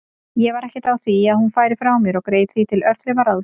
Ég var ekkert á því að hún færi frá mér og greip því til örþrifaráðs.